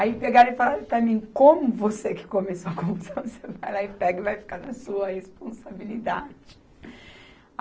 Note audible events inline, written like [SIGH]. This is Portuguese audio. Aí pegaram e falaram para mim, como você que começou a comissão, [LAUGHS] você vai lá e pega e vai ficar na sua responsabilidade. [LAUGHS]